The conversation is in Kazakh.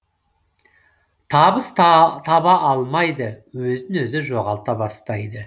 табыс таба алмайды өзін өзі жоғалта бастайды